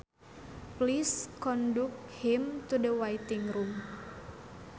Please conduct him to the waiting room